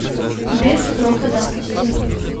без срока давности